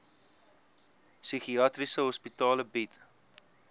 psigiatriese hospitale bied